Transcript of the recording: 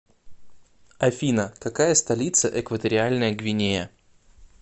афина какая столица экваториальная гвинея